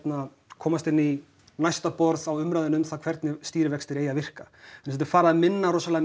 komast inn í næsta borð á umræðunni um það hvernig stýrivextir eigi að virka þetta er farið að minna rosalega